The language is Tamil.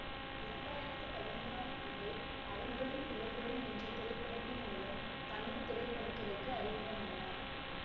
இரண்டயிரத்தி பதினொறாம் ஆண்டு அவர்களும் இவர்களும் என்ற திரைப்படத்தின் மூலம் தமிழ் திரைப்பட துறைக்கு அறிமுகமானார்